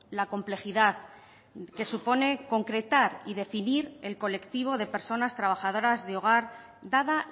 la complejidad que supone concretar y definir el colectivo de personas trabajadoras de hogar dada